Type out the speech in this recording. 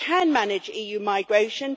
We can manage EU migration